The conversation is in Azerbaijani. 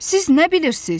Siz nə bilirsiz?